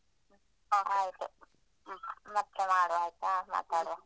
ಹ ಆಯ್ತು ಮತ್ತೆ ಮಾಡುವ ಆಯ್ತಾ ಮಾತಾಡುವ.